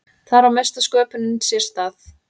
Þar á mesta sköpunin sér stað.